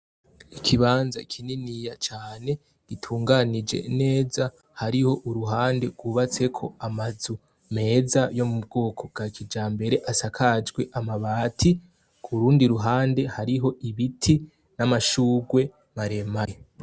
Ikibanza kinini gitunganije neza hariho uruhande gwubatseko amazu meza ya kijambere asakajwe amabati kurundi ruhande hariho ibiti n' amashugwe mare mare.